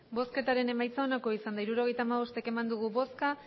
hirurogeita hamabost eman dugu bozka